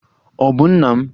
Ọ bụ nna m.